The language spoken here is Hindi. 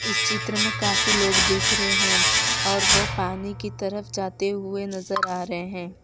इस चित्र में काफी लोग दिख रहे हैं और वो पानी की तरफ जाते हुए नजर आ रहे हैं।